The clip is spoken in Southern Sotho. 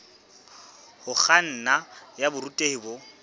ho kganna ya borutehi bo